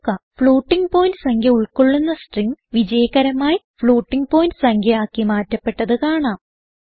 floating point സംഖ്യ ഉൾകൊള്ളുന്ന string വിജയകരമായി floatingപോയിന്റ് സംഖ്യ ആക്കി മാറ്റപ്പെട്ടത് കാണാം